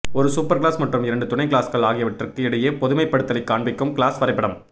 ஒரு சூப்பர்கிளாஸ் மற்றும் இரண்டு துணை கிளாஸ்கள் ஆகியவற்றுக்கு இடையே பொதுமைப்படுத்தலைக் காண்பிக்கும் கிளாஸ் வரைபடம்